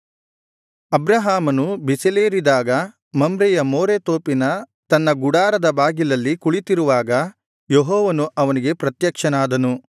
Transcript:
ಅಬ್ರಹಾಮನು ಬಿಸಿಲೇರಿದಾಗ ಮಮ್ರೆಯ ಮೋರೆ ತೋಪಿನ ತನ್ನ ಗುಡಾರದ ಬಾಗಿಲಲ್ಲಿ ಕುಳಿತಿರುವಾಗ ಯೆಹೋವನು ಅವನಿಗೆ ಪ್ರತ್ಯಕ್ಷನಾದನು